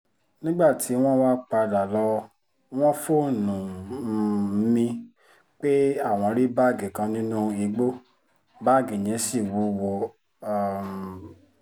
nígbà tí wọ́n wáá padà lọ wọ́n fóònù um mi pé àwọn rí báàgì kan nínú igbó báàgì yẹn ṣì wúwo um